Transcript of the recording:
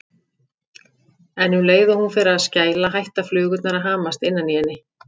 En um leið og hún fer að skæla hætta flugurnar að hamast innan í henni.